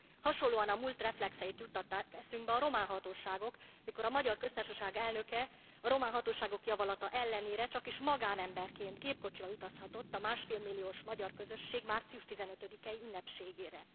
Hasonlóan a múlt reflexeit juttatták eszünkbe a román hatóságok, mikor a Magyar Köztársaság elnöke a román hatóságok javallata ellenére csakis magánemberként, gépkocsival utazhatott a másfél milliós magyar közösség március 15 i ünnepségére.